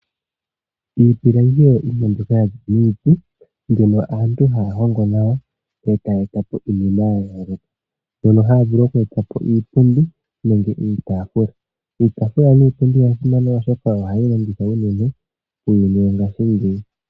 Iipilangi oyo iinima mbyoka ya ningwa niiti mbyoka aantu haya hongo nawa e taya eta po iinima ya yooloka, mpono haya vulu oku eta po iipundi nenge iitaafula. Iitaafula niipundi oya simana, oshoka oyo hayi longithwa unene muuyuni wongashingeyi.